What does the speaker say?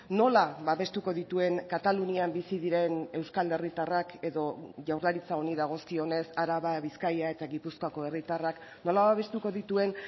nola babestuko dituen katalunian bizi diren euskal herritarrak edo jaurlaritza honi dagozkionez araba bizkaia eta gipuzkoako herritarrak nola babestuko dituen